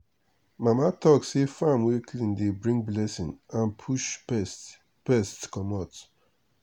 mama talk say farm wey clean dey bring blessing and push pest pest commot.